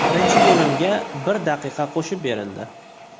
Birinchi bo‘limga bir daqiqa qo‘shib berildi.